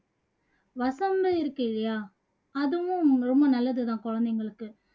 வசம்பு இருக்கு இல்லையா அதுவும் ரொம்ப நல்லது தான் குழந்தைங்களுக்கு